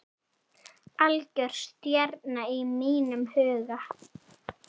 Algjör stjarna í mínum huga.